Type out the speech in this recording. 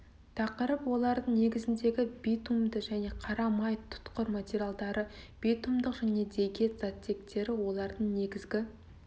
тақырып олардың негізіндегі битумды және қара май тұтқыр материалдары битумдық және дегет заттектері олардың негізгі